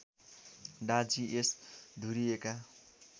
डा G S धुरिएका